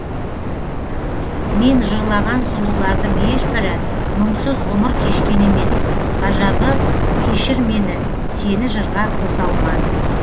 мен жырлаған сұлулардың ешбірі мұңсыз ғұмыр кешкен емес ғажабы кешір мені сені жырға қоса алман